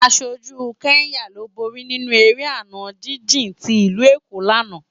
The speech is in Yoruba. Áṣójú Kenya ló bóri ninú éré àná jijin ti Ilú Ékó làná